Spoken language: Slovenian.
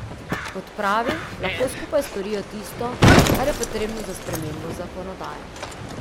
Kot pravi, lahko skupaj storijo tisto, kar je potrebno za spremembo zakonodaje.